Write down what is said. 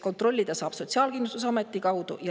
Kontrollida saab Sotsiaalkindlustusameti kaudu.